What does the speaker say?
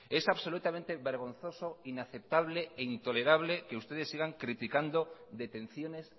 es absolutamente vergonzoso inaceptable e intolerable que ustedes sigan criticando detenciones